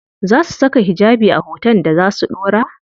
Za su saka hijabi a hoton da za su ɗora?